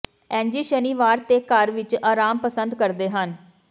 ਐਂਜੀ ਸ਼ਨੀਵਾਰ ਤੇ ਘਰ ਵਿਚ ਆਰਾਮ ਪਸੰਦ ਕਰਦੇ ਹਨ